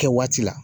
Kɛ waati la